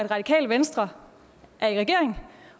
radikale venstre er i regering